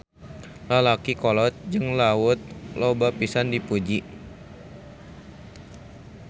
Lalaki kolot jeung Laut loba pisan dipuji.